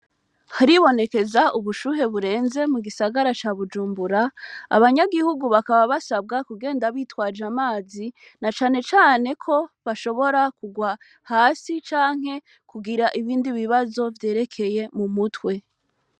Hari bonekeza ubushuhe burenze mu gisagara ca Bujumbura, abanyagihugu bakaba basabwa kugenda bitwaje amazi na cane cane kobashobora kurwa hasi canke kugira ibindi bibazo vyerekeye umutwe.